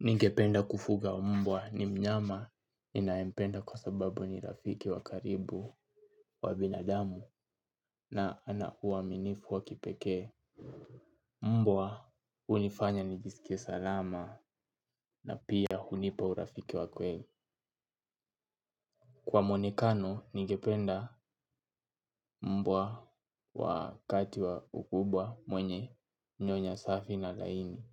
Ningependa kufuga mbwa ni mnyama ninayempenda kwa sababu ni rafiki wa karibu wa binadamu na ana huwa mwaminifu wa kipekee. Mbwa hunifanya nijisike salama na pia hunipa urafiki wa kweli. Kwa mwonekano ningependa mbwa wakati wa ukubwa mwenye nyonya safi na laini.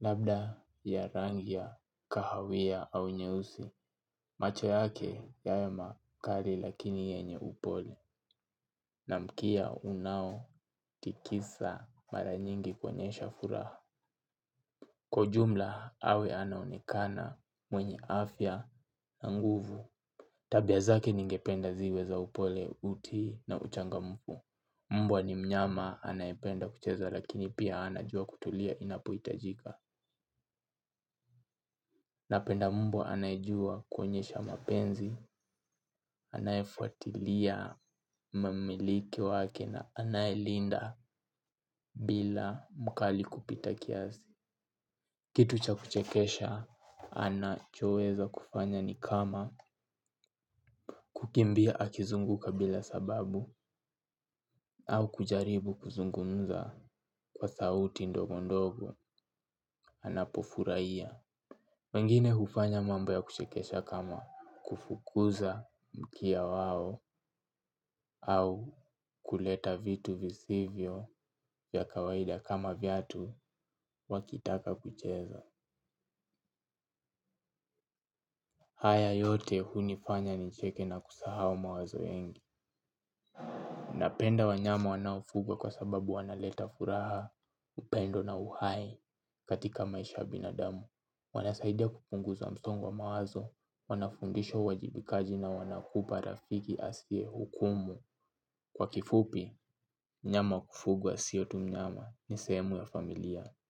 Labda ya rangi ya, kahawia au nyeusi. Macho yake yawe makari lakini yenye upole. Na mkia unaotikisa mara nyingi kuonyesha furaha. Kwa ujumla awe anaonekana mwenye afya na nguvu. Tabia zake ningependa ziwe za upole uti na uchangamfu mbwa ni mnyama anayependa kucheza lakini pia anajua kutulia inapohitajika napenda mbwa anayejua kuonyesha mapenzi, anayefuatilia mmiliki wake na anayelinda bila mkali kupita kiasi. Kitu cha kuchekesha anachoweza kufanya ni kama kukimbia akizunguka bila sababu au kujaribu kuzungumza kwa sauti ndogo ndogo anapofuraia. Wengine hufanya mambo ya kuchekesha kama kufukuza mkia wao au kuleta vitu visivyo ya kawaida kama viatu wakitaka kucheza. Haya yote hunifanya nicheke na kusahau mawazo mengi. Napenda wanyama wanaofugwa kwa sababu wanaleta furaha upendo na uhai katika maisha ya binadamu. Wanasaidia kupunguza msongo wa mawazo, wanafundishwa uwajibikaji na wanakupa rafiki asiyehukumu. Kwa kifupi, mnyama kufugwa sio tu mnyama ni sehemu ya familia.